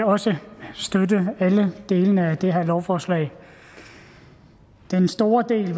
også støtte alle delene af det her lovforslag den store del